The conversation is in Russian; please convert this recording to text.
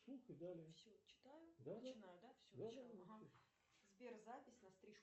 сбер запись на стрижку